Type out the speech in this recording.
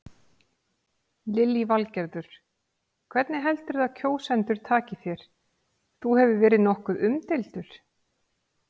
Lillý Valgerður: Hvernig heldurðu að kjósendur taki þér, þú hefur verið nokkuð umdeildur?